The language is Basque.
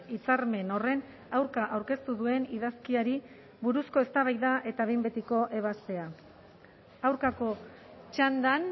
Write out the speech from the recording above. hitzarmen horren aurka aurkeztu duen idazkiari buruzko eztabaida eta behin betiko ebazpena aurkako txandan